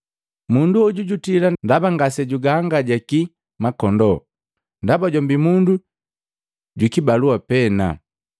Mundu hoju jutila ndaba ngase jugaangajaki makondoo ndaba jombi mundu jukibalua pena.